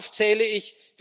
Darauf zähle ich.